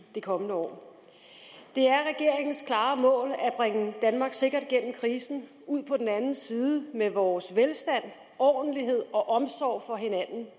de kommende år det er regeringens klare mål at bringe danmark sikkert igennem krisen og ud på den anden side med vores velstand ordentlighed og omsorg for hinanden